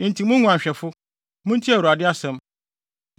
“Enti, mo nguanhwɛfo, muntie Awurade asɛm: